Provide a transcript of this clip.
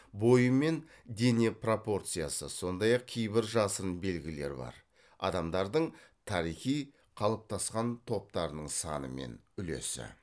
бойы мен дене пропорциясы сондай ақ кейбір жасырын белгілері бар адамдардың тарихи қалыптасқан топтарының саны мен үлесі